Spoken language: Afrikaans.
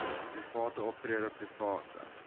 private optrede private